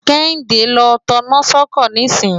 kẹ́yìndé ló taná sọ́kọ̀ nísìn